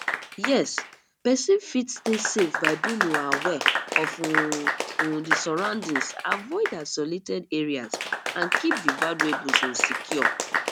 yes pesin fit stay safe by being um aware of um um di surroundings avoid isolated areas and keep di valuables um secure